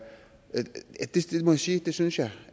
sige jeg synes